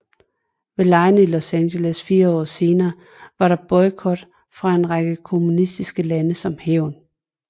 Ved legene i Los Angeles fire år senere var der boykot fra en række kommunistiske lande som hævn